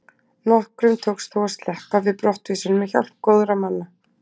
Nokkrum tókst þó að sleppa við brottvísun með hjálp góðra manna.